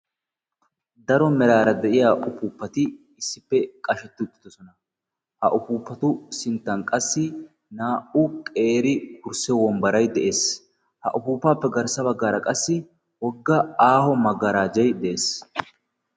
daro meraara de'iya ufuuppati issippe qashetti uttidosona ha ufuuppatu sinttan qassi naa''u qeeri kursse wombbarai de'ees ha ufuupaappe garssa baggaara qassi wogga aaho maggaraajay de'ees